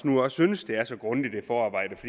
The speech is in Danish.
nu også synes det er så grundigt et forarbejde